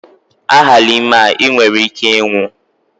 A hala ime a, i nwere ike ịnwụ!